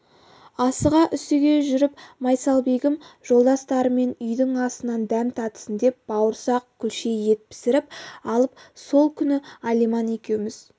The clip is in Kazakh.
асыға-үсіге жүріп майсалбегім жолдастарымен үйдің асынан дәм татсын деп бауырсақ күлше ет пісіріп алып сол күні алиман екеуміз